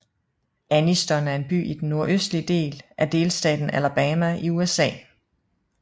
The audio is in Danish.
Anniston er en by i den nordøstlige del af delstaten Alabama i USA